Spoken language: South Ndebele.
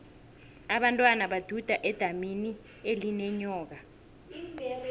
abentwana baduda edamini elinenyoka